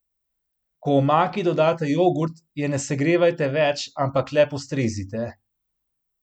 Ko omaki dodate jogurt, je ne segrevajte več, ampak le postrezite.